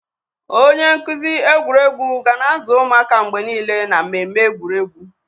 Onye nkuzi egwuregwu ga na-azụ ụmụaka mgbe niile na mmemme egwuregwu.